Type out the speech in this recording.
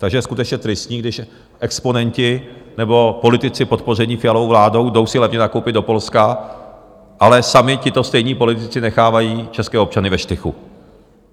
Takže je skutečně tristní, když exponenti nebo politici podpoření Fialovou vládou jdou si levně nakoupit do Polska, ale sami tito stejní politici nechávají české občany ve štychu.